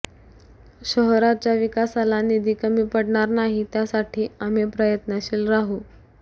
शहराच्या विकासाला निधी कमी पडणार नाही त्यासाठी आम्ही प्रयत्नशिल राहू